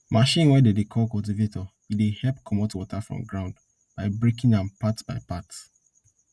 machine wey dem dey call cultivator e dey help commot water from ground by breaking am part by part